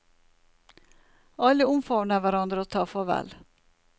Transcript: Alle omfavner hverandre og tar farvel.